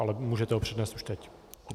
Ale můžete ho přednést už teď.